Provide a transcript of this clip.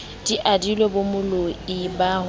di adilwe bomoloi ba ho